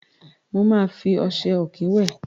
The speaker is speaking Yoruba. Mo máa fi ọṣẹ ọ̀kín wẹ̀.